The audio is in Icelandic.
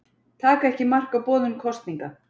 Taka ekki mark á boðun kosninga